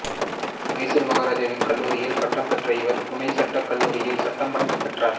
மைசூர் மகாராஜாவின் கல்லூரியில் பட்டம் பெற்ற இவர் புனே சட்டக் கல்லூரியில் சட்டப் பட்டம் பெற்றார்